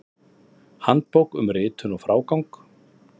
Handbók um ritun og frágang.